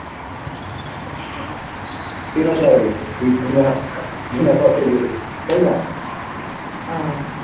কে না চাইবে বিনা বিনা খরচই যেতে তাইনা